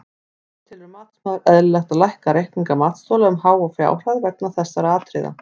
Hvað telur matsmaður eðlilegt að lækka reikninga matsþola um háa fjárhæð vegna þessara atriða?